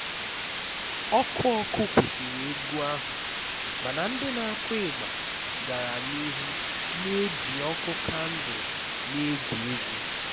ọkụ ọkụ kwụsịrị egwu ahụ mana ndị na-akụ igba gara n'ihu na-eji ọkụ kandụl na-egwu egwu